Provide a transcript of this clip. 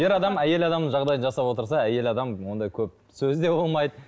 ер адам әйел адамның жағдайын жасап отырса әйел адам ондай көп сөз де болмайды